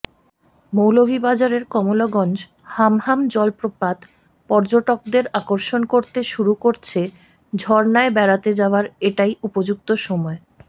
মৌলভীবাজারের কমলগঞ্জ হামহাম জলপ্রপাত পর্যটকদের আকর্ষণ করতে শুরু করছে ঝর্ণায় বেড়াতে যাওয়ার এটাই উপযুক্ত সময়